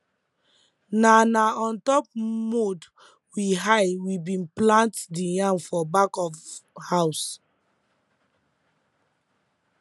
na na on top mound wey high we bi plant the yam for back of house